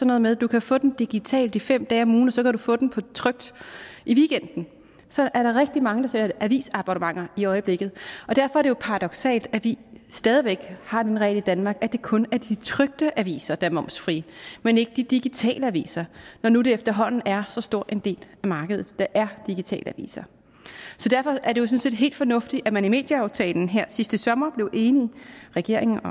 noget med at du kan få den digitalt i fem dage om ugen og så kan du få den på tryk i weekenden så der er rigtig mange der sælger avisabonnementer i øjeblikket og derfor er det jo paradoksalt at vi stadig væk har den regel i danmark at det kun er de trykte aviser der er momsfri men ikke de digitale aviser når nu det efterhånden er så stor en del af markedet der er digitale aviser så derfor er det jo sådan set helt fornuftigt at man i medieaftalen her sidste sommer blev enige regeringen og